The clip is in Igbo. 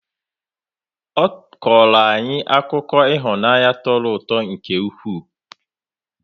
Ọ kọrọ anyị akụkọ ihunaanyi tọrọ ụtọ nke ụkwụ.